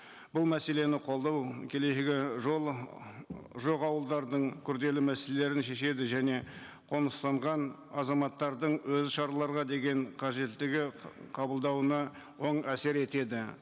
бұл мәселені қолдау келешегі жоқ ауылдардың күрделі мәселелерін шешеді және қоныстанған азаматтардың өзі шараларға деген қажеттігі қабылдауына оң әсер етеді